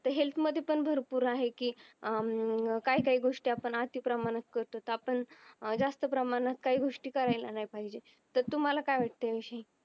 health मध्ये पण भरपूर आहे की अं काय काय गोष्टी आपण आति प्रमाणात करतो तर आपण जास्त प्रमाणात काही गोष्टी करायला नी पाहिजे तर तुम्हाला काय वाटतं या विषयी